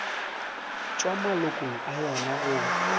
tšwa malokong a yona go